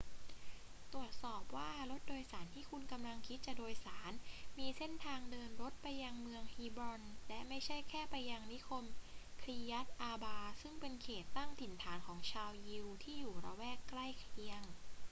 ตรวจสอบว่ารถโดยสารที่คุณกำลังคิดจะโดยสารมีเส้นทางเดินรถไปยังเมืองฮีบรอนและไม่ใช่แค่ไปยังนิคมคีร์ยัต อาร์บา ซึ่งเป็นเขตตั้งถิ่นฐานของชาวยิวที่อยู่ละแวกใกล้เคียง